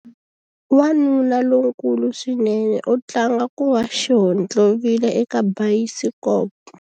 Wanuna lonkulu swinene u tlanga ku va xihontlovila eka bayisikopo.